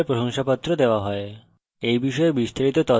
online পরীক্ষা pass করলে প্রশংসাপত্র দেওয়া হয়